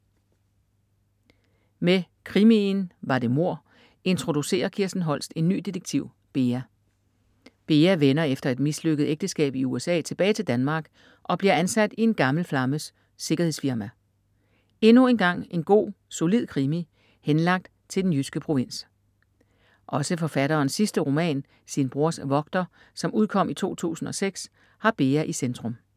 Med krimien Var det mord? introducerer Kirsten Holst en ny detektiv, Bea. Bea vender efter et mislykket ægteskab i USA tilbage til Danmark og bliver ansat i en gammel flammes sikkerhedsfirma. Endnu engang en god, solid krimi, henlagt til den jyske provins. Også forfatterens sidste roman Sin brors vogter, som udkom i 2006, har Bea i centrum.